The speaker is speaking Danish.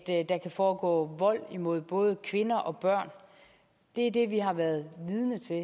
der kan foregå vold imod både kvinder og børn det er det vi har været vidne til